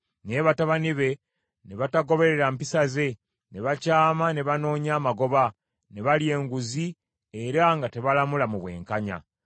Naye batabani be ne batagoberera mpisa ze, ne bakyama ne banoonya amagoba, ne balya enguzi, era nga tebalamula mu bwenkanya.